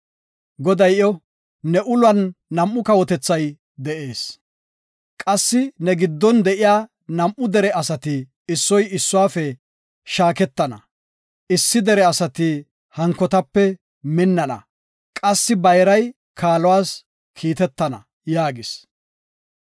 Goday iyo, “Ne ulon nam7u kawotethi de7ees; qassi ne giddon de7iya nam7u dere asati issoy issuwafe shaaketana; issi dere asati hankotape minnana; qassi bayray kaaluwas kiitetana” yaagis.